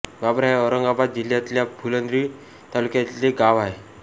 बाबरा हे औरंगाबाद जिल्ह्यातल्या फुलंब्री तालुक्यातले गाव आहे